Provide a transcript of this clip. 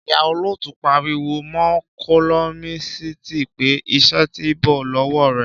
Ìhà olotu parí wò mo kólọmísiti pé; ìṣe tí bọ lowo rẹ.